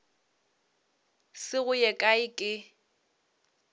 se go ye kae ke